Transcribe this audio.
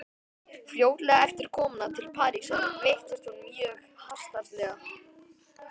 Fljótlega eftir komuna til Parísar veiktist hún mjög hastarlega.